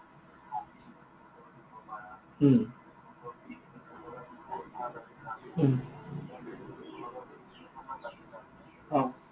উম উম অ।